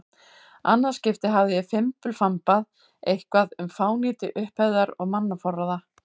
annað skipti hafði ég fimbulfambað eitthvað um fánýti upphefðar og mannaforráða.